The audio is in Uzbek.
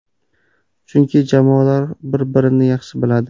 Chunki jamoalar bir birini yaxshi biladi.